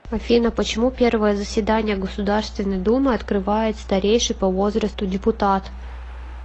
афина почему первое заседание государственной думы открывает старейший по возрасту депутат